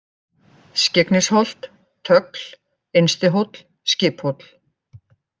Skyggnisholt, Tögl, Innstihóll, Skiphóll